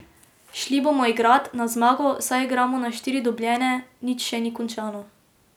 Šli bomo igrat, na zmago, saj igramo na štiri dobljene, nič še ni končano.